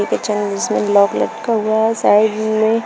जिसमें लॉक लटका हुआ है साइड में--